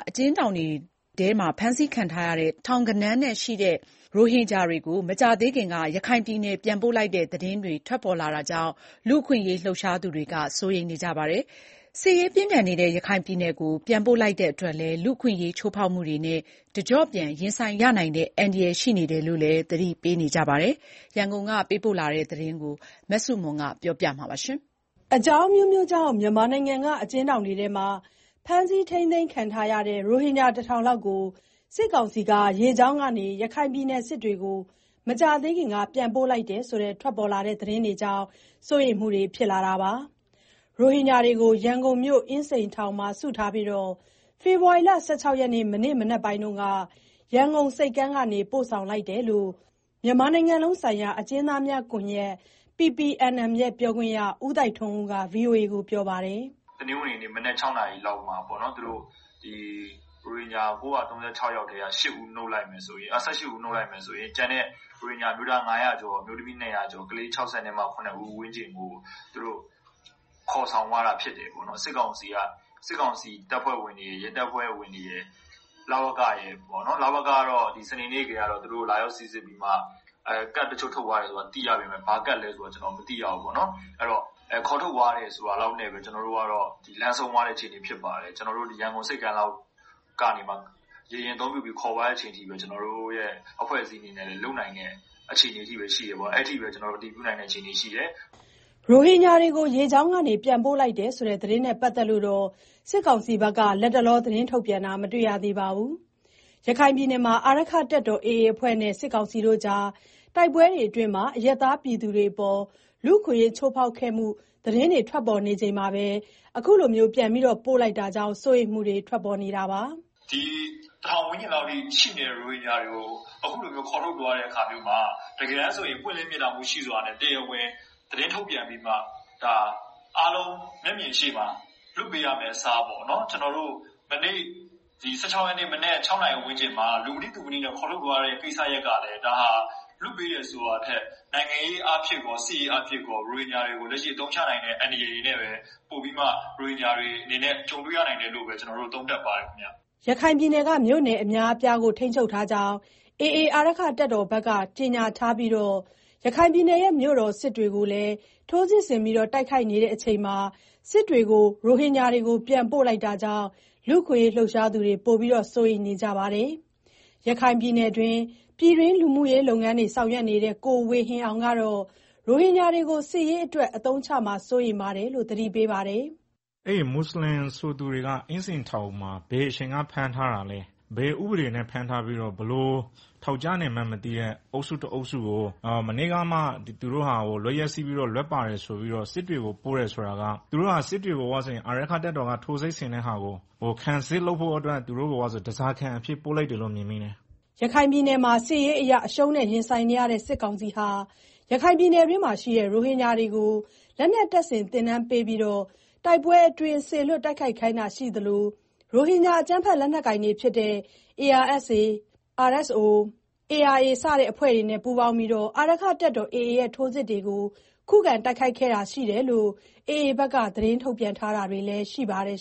အကျဉ်းထောင်တွေမှာ ဖမ်းဆီးခံထားရတဲ့ ထောင်ဂဏန်းရှိ ရိုဟင်ဂျာတွေကို မကြာသေးခင်က ရခိုင်ပြည်နယ်ပြန်ပို့လိုက်တဲ့သတင်းတွေ ထွက်လာတာကြောင့် လူ့အခွင့်အရေးလှုပ်ရှားသူတွေ စိုးရိမ်နေကြပါတယ်။ စစ်ရေးပြင်းထန်နေတဲ့ ရခိုင်ပြည်နယ်ကို ပြန်ပို့လိုက်တာကြောင့် လူ့အခွင့်အရေး ချိုးဖောက်မှုတွေနဲ့ တကျော့ပြန်ရင်ဆိုင်ရနိုင်တဲ့ အန္တရာယ်ရှိတယ်လို့လည်း သတိပေးနေကြတာပါ။ ရန်ကုန်ကသတင်းပေးပို့ ထားတာကို အခြေခံပြီးတင်ပြထားပါတယ်။ အကြောင်းအမျိုးမျိုးကြောင့် မြန်မာနိုင်ငံက အကျဉ်းထောင်တွေမှာ ဖမ်းဆီးခံထားရတဲ့ ရိုဟင်ဂျာ တထောင်လောက်ကို စစ်ကောင်စီက ရေကြောင်းကနေ ရခိုင်ပြည်နယ် စစ်တွေကို မကြာသေးခင်က ပြန်ပို့လိုက်တယ်ဆိုတဲ့သတင်းကြောင့် စိုးရိမ်မှုတွေ ထွက်ပေါ်လာတာပါ။ ရိုဟင်ဂျာတွေကို ရန်ကုန်မြို့ အင်းစိန်ထောင်မှာစုပြီး ဖေဖော်ဝါရီလ ၁၆ ရက် မနေ့ကမနက်ပိုင်းမှာ ရန်ကုန်ဆိပ်ကမ်းကနေ ပြန်ပို့ လိုက်တာလို့လည်း မြန်မာနိုင်ငံလုံးဆိုင်ရာအကျဉ်း သားများကွန်ရက် ပြောခွင့်ရ ကိုသိုက်ထွန်းဦးက ပြောပါတယ်။ “တနင်္ဂနွေနေ့ မနက် ၆ နာရီလောက်မှာ ရိုဟင်ဂျာ ၉၃၆ ယောက်ထဲက ၁၈ ဦးနုတ်လိုက်မယ်ဆိုရင် ကျန်တဲ့ ရိုဟင်ဂျာအမျိုးသား ၅၀၀ ကျော်၊ အမျိုးသမီး ၂၀၀ ကျော်နဲ့ ကလေး ၆၇ ဦးဝန်းကျင်ကို သူတို့ ခေါ်ဆောင် သွားတာဖြစ်တယ်။ စစ်ကောင်စီတပ်ဖွဲ့ဝင်တွေရယ်၊ ရဲတပ်ဖွဲ့ဝင်တွေရယ်၊ လဝကရယ် -လဝက,ကတော့ စနေနေ့ကတည်းက သူတို့ကို လာရောက်စိစစ်ပြီးတော့ ကဒ်တချို့ ထုတ်သွားတယ်လို့ သိရပေမယ့် ဘာကဒ်လဲဆိုတာတော့ ကျနော်တို့ မသိရဘူး။ အဲတော့ ခေါ်ထုတ်သွားတယ်ဆိုတာ လောက်နဲ့ ကျနော်တို့က လမ်းဆုံးသွားတယ်။ ရန်ကုန်ဆိပ်ကမ်းက ရေယာဉ်အသုံးပြုပြီး ခေါ်သွားတာ လောက်ပဲ ကျနော်တို့ အဖွဲ့အစည်းကလုပ်နိုင်တဲ့ အခြေအနေပဲရှိတယ်။ အဲလောက်ပဲ ကျနော်တို့ အတည်ပြုနိုင်တယ်။” ရိုဟင်ဂျာတွေကို ရေကြောင်းကနေ ပြန်ပို့လိုက်တဲ့ သတင်းနဲ့ ပတ်သက်လို့ စစ်ကောင်စီက လတ်တလော သတင်းထုတ်ပြန်တာ မတွေ့ရသေးပါဘူး။ ရခိုင်ပြည်နယ်မှာ အာရက္ခတပ်တော် AA အဖွဲ့နဲ့ စစ်ကောင်စီကြား တိုက်ပွဲတွေအတွင်း အရပ်သားတွေအပေါ် လူ့အခွင့်အရေး ချိုးဖောက်ခံရမှု သတင်းတွေ ထွက်ပေါ်နေချိန်မှာ ပြန်ပို့လိုက်တာကြောင့် စိုးရိမ်မှုတွေလည်း ထွက်ပေါ်နေတာပါ။ “ဒီတထောင်ဝန်းကျင်လောက်ရှိတဲ့ ရိုဟင်ဂျာတွေကို အခုလိုမျိုး ခေါ်ထုတ်သွားတဲ့အခါမျိုးမှာ တကယ် ဆိုရင် ပွင့်လင်းမြင်သာမှုရှိစွာနဲ့ အားလုံးမျက်မြင်ရှေ့မှာ သတင်းထုတ်ပြန်ပြီးတော့ လွှတ်ပေးရမယ့် အစား မနေ့က ၁၆ရက်နေ့ မနက် ၆နာရီဝန်းကျင်မှာ လူမသိသူမသိ ခေါ်ထုတ်သွားတဲ့ ကိစ္စရပ်ကလည်း ဒါဟာ လွှတ်ပေးတယ်ဆိုတာထက် နိုင်ငံရေးအားဖြင့်၊ စစ်ရေးအားဖြင့် ရိုဟင်ဂျာတွေကို အသုံးချနိုင်တဲ့ အန္တရာယ်တွေနဲ့ပဲ ကြုံတွေ့ရနိုင်တယ်လို့ ကျနော်တို့ သုံးသပ်ပါတယ်ခင်ဗျာ။” ရခိုင်ပြည်နယ်က မြို့နယ်အများအပြားကို ထိန်းချုပ်ထားကြောင်း AA အဖွဲ့က ကြေညာထားပြီး မြို့တော် စစ်တွေကိုလည်း ထိုးစစ်ဆင်တိုက်ခိုက်နေချိန်မှာ ရိုဟင်ဂျာတွေကို ပြန်ပို့လိုက်တာကြောင့် လူ့အခွင့် အရေး လှုပ်ရှားသူတွေ ပိုပြီးစိုးရိမ်နေကြတာပါ။ရခိုင်ပြည်တွင်း လူမူရေးလုပ်ငန်းတွေ ဆောင်ရွက်နေတဲ့ ကိုဝေဟင်အောင် ကတော့ ရိုဟင်ဂျာတွေကို စစ်ရေးအတွက် အသုံးချမှာ စိုးရိမ်ရတယ်လို့ သတိပေးပါတယ်။ “အဲဒီမွတ်ဆလင်ဆိုသူတွေကို အင်းစိန်ထောင်မှာ ဘယ်အချိန်ကဖမ်းထားတာလဲ၊ ဘယ်ဥပဒေတွေနဲ့ ဖမ်းထားပြီးတော့ ဘယ်လိုထောင်ကျနေမှန်းမသိတဲ့ အုပ်စုတအုပ်စုကို မနေ့ကမှ သူတို့ဟာ လွတ်ရက် စေ့ပြီးတော့ လွတ်ပါတယ်ဆိုပြီး စစ်တွေကို ပို့တယ်ဆိုတာက စစ်တွေကို အာရက္ခတပ်တော် AA က ထိုးစစ်ဆင်နေတာကို ခံစစ်လုပ်ဖို့အတွက် သူတို့ကို ဓားစာခံအဖြစ်ပို့လိုက်တာလို့ မြင်တယ်။” ရခိုင်ပြည်နယ်မှာ စစ်ရေးအရ အရှုံးနဲ့ ရင်ဆိုင်နေရတဲ့ စစ်ကောင်စီဟာ ရခိုင်ပြည်နယ်မှာရှိတဲ့ ရိုဟင်ဂျာ တွေကို လက်နက်တပ်ဆင် သင်တန်းပေးပြီးတော့ တိုက်ပွဲအတွင်း စေလွှတ်တိုက်ခိုက်ခိုင်းတာရှိသလို ရိုဟင်ဂျာ အကြမ်းဖက်လက်နက်ကိုင်တွေဖြစ်တဲ့ ARSA, RSO, ARA စတဲ့ အဖွဲ့တွေနဲ့ ပူးပေါင်းပြီးတော့ အာရက္ခတပ်တော် AA ရဲ့ ထိုးစစ်တွေကို ခုခံတိုက်ခိုက်ခဲ့တာရှိတယ်လို့ AA ဘက်က ထုတ်ပြန်ထားတာ တွေလည်းရှိပါတယ်